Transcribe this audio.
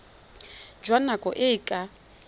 jwa nako e e ka